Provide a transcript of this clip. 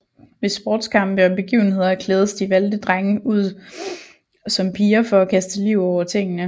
Ved sportskampe og begivenheder klædes de valgte drenge ud som piger for at kaste liv over tingene